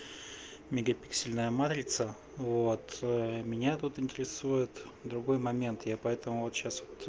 мегапиксельная матрица вот меня тут интересует другой момент я поэтому вот сейчас вот